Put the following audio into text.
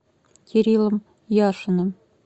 кириллом яшиным